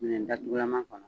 Minɛn datugulaman kɔnɔ